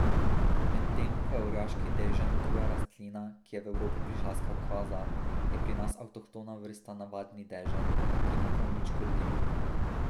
Medtem ko je orjaški dežen tuja rastlina, ki je v Evropo prišla s Kavkaza, je pri nas avtohtona vrsta navadni dežen, ki ni prav nič škodljiv.